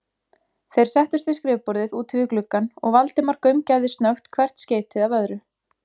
Þeir settust við skrifborðið úti við gluggann, og Valdimar gaumgæfði snöggt hvert skeytið af öðru.